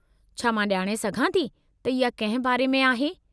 छा मां ॼाणे सघां थी त इहा कंहिं बारे में आहे?